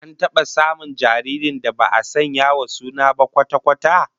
An taba samun jaririn da ba'a sanya wa suna ba kwata-kwata?